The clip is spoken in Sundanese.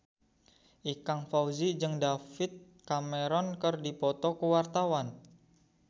Ikang Fawzi jeung David Cameron keur dipoto ku wartawan